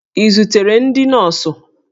Ị zutere ndị nọọsụ?